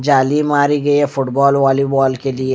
जाली मारी गई है फुटबॉल वालीबॉल‌ के लिए --